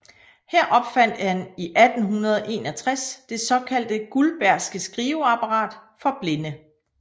Her opfandt han i 1861 det såkaldte guldbergske skriveapparat for blinde